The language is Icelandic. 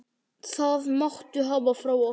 Það máttu hafa frá okkur.